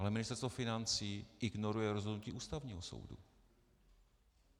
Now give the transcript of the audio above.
Ale Ministerstvo financí ignoruje rozhodnutí Ústavního soudu.